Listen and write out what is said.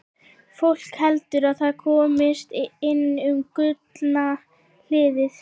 Fólk heldur að það komist inn um Gullna hliðið.